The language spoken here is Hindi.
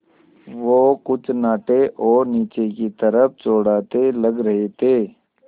वो कुछ नाटे और नीचे की तरफ़ चौड़ाते लग रहे थे